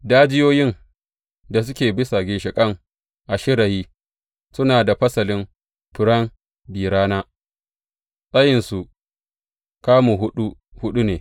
Dajiyoyin da suke a bisa ginshiƙan a shirayi suna da fasalin furen bi rana, tsayinsu kamu huɗu huɗu ne.